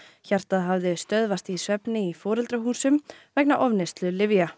hjartað hafði stöðvast í svefni í foreldrahúsum vegna ofneyslu lyfja